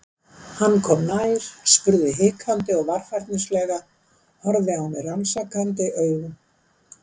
Hann kom nær, spurði hikandi og varfærnislega, horfði á mig rannsakandi augum.